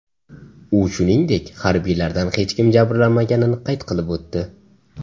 U, shuningdek, harbiylardan hech kim jabrlanmaganini qayd qilib o‘tdi.